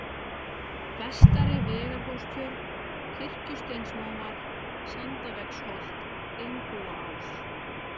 Vestari-Vegarhólstjörn, Kirkjusteinsmóar, Sandavegsholt, Einbúaás